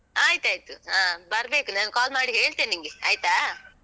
ಆಯ್ತಾಯ್ತು, ಹ. ಬರ್ಬೇಕು ನಾನ್ call ಮಾಡಿ ಹೇಳ್ತೇನ್ ನಿಂಗೆ. ಆಯ್ತಾ?